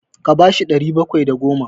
Ka ba shi ɗari bakwai da goma!